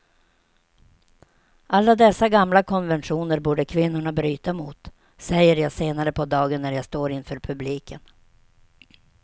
Alla dessa gamla konventioner borde kvinnorna bryta mot, säger jag senare på dagen när jag står inför publiken.